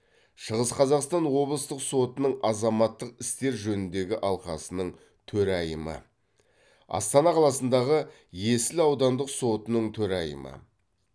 шығыс қазақстан облыстық сотының азаматтық істер жөніндегі алқасының төрайымы астана қаласындағы есіл аудандық сотының төрайымы